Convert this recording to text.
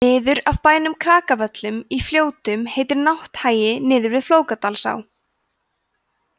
niður af bænum krakavöllum í fljótum heitir nátthagi niður við flókadalsá